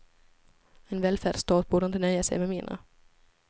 En välfärdsstat borde inte nöja sig med mindre.